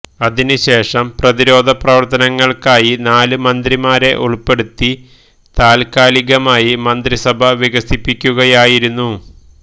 അതിനുശേഷം പ്രതിരോധ പ്രവര്ത്തനങ്ങള്ക്കായി നാല് മന്ത്രിമാരെ ഉള്പ്പെടുത്തി താത്കാലികമായി മന്ത്രിസഭ വികസിപ്പിക്കുകയായിരുന്നു